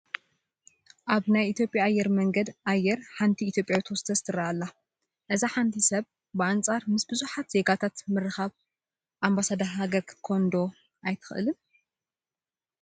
ኣብ ናይ ኢትዮጵያ ኣየር መንገድ ኣየር ሓንቲ ኢትዮጵያዊት ሆስቴስ ትርአ ኣላ፡፡ እዚ ሓንቲ ሰብ ብኣንፃር ምስ ብዙሓት ዜጋትት ምርኻባ ኣምባሳደር ሃገር ክትበሃል ዶ ኣይትኽእልን?